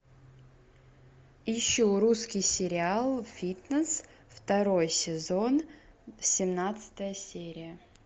ищу русский сериал фитнес второй сезон семнадцатая серия